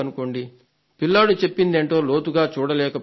సరే పిల్లాడు చెప్పేదేంటో లోతుగా చూడలేకపోయాడు